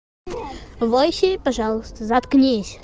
войси пожалуйста заткнись